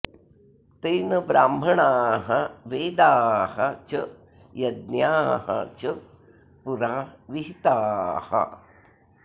तेन ब्राह्मणाः वेदाः च यज्ञाः च पुरा विहिताः